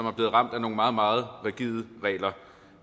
er blevet ramt af nogle meget meget rigide regler